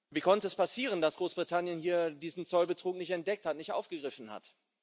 Wie konnte es passieren, dass Großbritannien hier diesen Zollbetrug nicht entdeckt, nicht aufgegriffen hat?